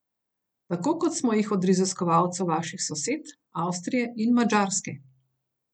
Tako kot smo jih od raziskovalcev vaših sosed, Avstrije in Madžarske.